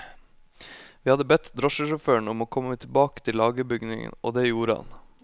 Vi hadde bedt drosjesjåføren om å komme tilbake til lagerbygningen, og det gjorde han.